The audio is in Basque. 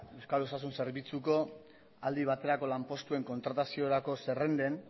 euskal osasun zerbitzuko aldi baterako lanpostuen kontrataziorako zerrenden